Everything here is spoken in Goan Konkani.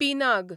पिनाग